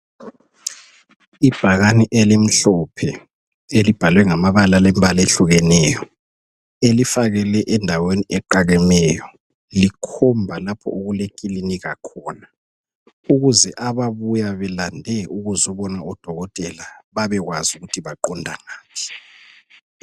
Ibhakani elimhlophe elibhalwe ngamabala alembala ehlukeneyo elifakelwe endaweni eqakemeyo litshengisa lapho okulekilinika khona ukuze ababuya belandele ukuzobona odokotela babekwazi ukuthi baqondangaphi.